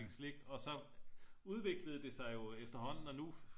slik og så udviklede det sig jo så efterhånden og nu